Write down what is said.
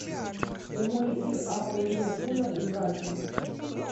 прямой эфир апл ливерпуля и брайтона